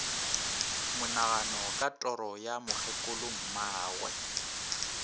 monagano ka toro ya mokgekolommagwe